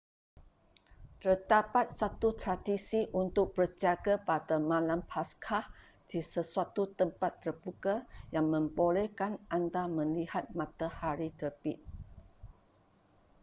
terdapat satu tradisi untuk berjaga pada malam paskah di sesuatu tempat terbuka yang membolehkan anda melihat matahari terbit